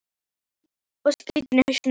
Ég er tóm og skrýtin í hausnum.